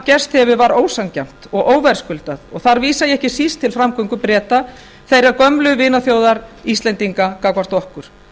gerst hefur var ósanngjarnt og óverðskuldað og þar vísa ég ekki síst til framgöngu breta þeirrar gömlu vinaþjóðar íslendinga gagnvart okkur